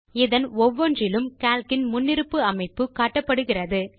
இதன் ஒவ்வொன்றிலும் கால்க் இன் முன்னிருப்பு அமைப்பு காட்டப்படுகிறது